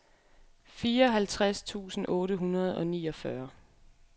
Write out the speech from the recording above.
fireoghalvtreds tusind otte hundrede og niogfyrre